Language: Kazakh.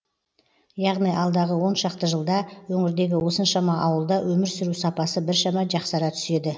яғни алдағы оншақты жылда өңірдегі осыншама ауылда өмір сүру сапасы біршама жақсара түседі